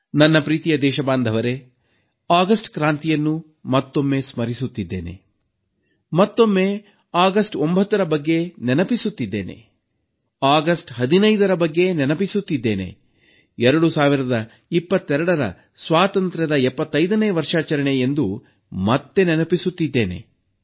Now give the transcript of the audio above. ನನ್ನ ಪ್ರಿಯ ದೇಶಬಾಂಧವರೇ ಆಗಸ್ಟ್ ಕ್ರಾಂತಿಯನ್ನು ಮತ್ತೊಮ್ಮೆ ಸ್ಮರಿಸುತ್ತಿದ್ದೇನೆ ಮತ್ತೊಮ್ಮೆ ಆಗಸ್ಟ್ 9ರ ಬಗ್ಗೆ ನೆನಪಿಸುತ್ತಿದ್ದೇನೆ ಆಗಸ್ಟ್ 15ರ ಬಗ್ಗೆ ನೆನಪಿಸುತ್ತಿದ್ದೇನೆ 2022 ಸ್ವಾತಂತ್ರ್ಯದ 75ನೇ ವರ್ಷಾಚರಣೆ ಎಂದು ಮತ್ತೆ ನೆನಪಿಸುತ್ತಿದ್ದೇನೆ